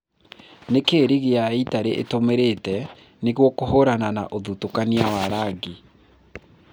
Nĩkĩĩ rigi ya Italy ĩtũmĩrĩte nũgũ kũhũrana na ũthutũkania wa rangi